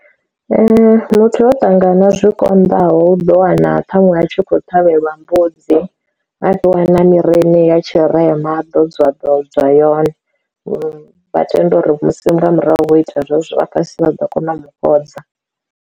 Muthu o ṱangana zwi konḓaho u ḓo wana ṱhaṅwe a tshi khou ṱhavhelwa mbudzi a fhiwa na miri ine ya tshirema ḓo dza ḓo dza yone vha tenda uri musi nga murahu vho ita zwezwo vha fhasi vha ḓo kona u mu fhodza.